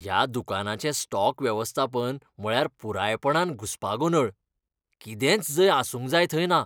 ह्या दुकानाचें स्टॉक वेवस्थापन म्हळ्यार पुरायपणान घुसपागोंदळ. कितेंच जंय आसूंक जाय थंय ना.